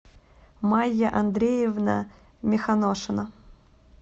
майя андреевна миханошина